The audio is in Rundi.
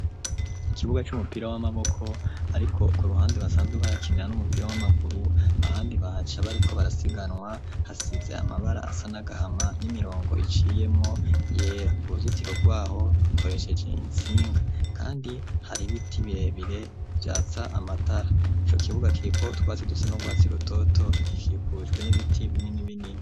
Ikibuga c'umupira w'amaboko ariko ku ruhande basanzwe bakinira n'umupira w'amaguru ahandi bahaca bariko barasiganwa hasize amabara asa n'agahama n'imirongo iciyemwo yera uruzitiro rwaho rukoresheje insinga kandi hari biti birebire vyatsa amatara ico kibuga kiripo twazidutse nubwatsirutoto gikikujwe n'ibiti binini binini.